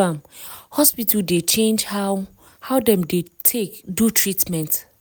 am hospital dey change how how dem dey take do treatment.